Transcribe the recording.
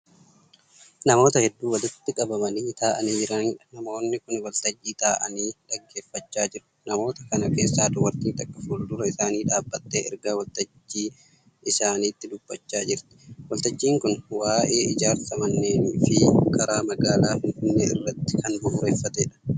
Namoota hedduu walitti qabamanii taa'anii jiraniidha. namoonni Kuni waltajjii taa'anii dhaggeeffachaa jiru. namoota kana keessaa dubartiin takka fuuldura isaanii dhaabattee ergaa waltajjii isaanitti dubbachaa jirti. waltajjiin Kuni waa'ee ijaarsa manneenii Fi karaa magaalaa Finfinnee irratti Kan bu'uureffateedha.